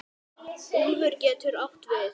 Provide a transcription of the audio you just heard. Úlfur getur átt við